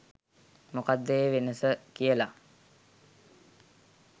මොකක්ද ඒ වෙනස කියලා